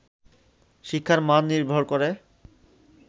শিক্ষার মান নির্ভর করে